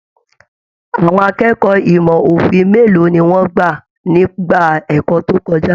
Àwọn akẹ́kọ̀ọ́ ìmọ òfin mélòó ní wọn gbà nígbà ẹ̀kọ́ tó kọjá?